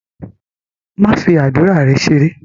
Don't joke with your prayers!